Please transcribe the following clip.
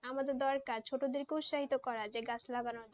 আমাদের দরকার ছোটো দেড় উৎসাহিত করা যে গাছ লাগানো